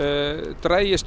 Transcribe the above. dragist